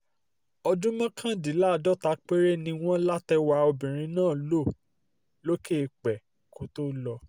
ọdún mọ́kàndínláàádọ́ta péré ni wọ́n látẹrwà obìnrin náà lò lókè eèpẹ̀ kó tóó lọ